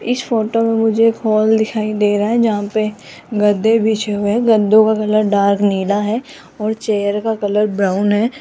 इस फोटो में मुझे एक हॉल दिखाई दे रहा है जहां पे गद्दे बिछे हुए है गद्दों का कलर डार्क नीला है और चेयर का कलर ब्राउन है।